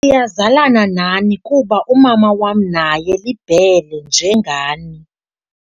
Siyazalana nani kuba umama wam naye liBhele njengani.